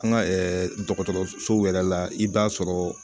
An ka dɔgɔtɔrɔsow yɛrɛ la i b'a sɔrɔ